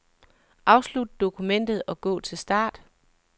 Afslut dokumentet og gå til start.